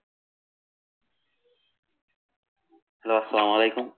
hello আসালামুআলাইকুম